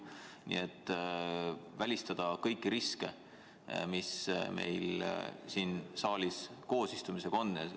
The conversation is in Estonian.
Tuleks välistada kõiki riske, mis siin saalis koos istumisega on.